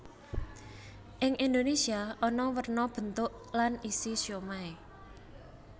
Ing Indonésia ana werna bentuk lan isi siomai